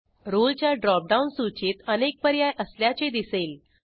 रोळे च्या ड्रॉपडाऊन सूचीत अनेक पर्याय असल्याचे दिसेल